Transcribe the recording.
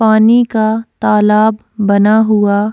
पानी का तालाब बना हुआ --